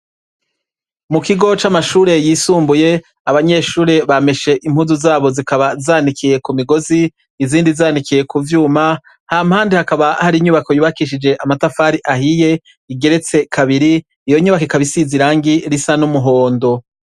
Mu kigo c'amashure yisumbuye abanyeshure bameshe impuzu zabo zikaba zanikiye ku migozi izindi zanikiye ku vyuma, hampande hakaba hari inyubako yubakishije amatafari ahiye igeretse kabiri, iyo nyubako ikaba isize irangi risa n'umuhondo.